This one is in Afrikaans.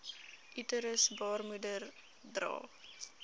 uterus baarmoeder dra